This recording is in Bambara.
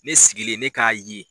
Ne sigilen ne k'a ye